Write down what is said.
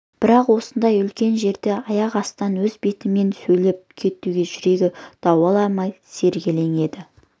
бірақ осындай үлкен жерде аяқ астынан өз бетімен сөйлеп кетуге жүрегі дауаламай сергелдең еді